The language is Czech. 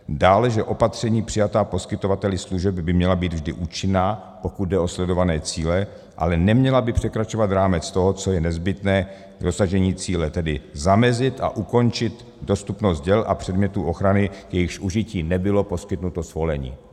Dále, že opatření přijatá poskytovateli služeb by měla být vždy účinná, pokud jde o sledované cíle, ale neměla by překračovat rámec toho, co je nezbytné k dosažení cíle, tedy zamezit a ukončit dostupnost děl a předmětů ochrany, k jejichž užití nebylo poskytnuto svolení.